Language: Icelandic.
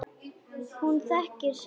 Hún þekkir sinn pilt.